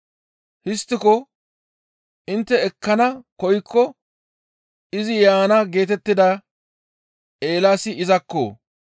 Histtiko intte ekkana koykko izi yaana geetettida Eelaasi izakko!